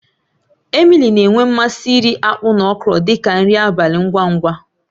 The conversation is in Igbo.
Emily na-enwe mmasị iri akpu na okro dị ka nri abalị ngwa ngwa.